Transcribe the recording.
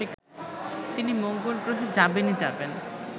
তিনি মঙ্গলগ্রহে যাবেনই যাবেন